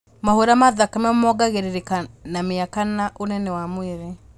Mahũra ma thakame mongagĩrĩrĩka na mĩaka na ũnene wa mwĩrĩ